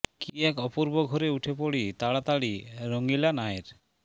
কী এক অপূর্ব ঘোরে উঠে পড়ি তাড়াতাড়ি রঙিলা নায়ের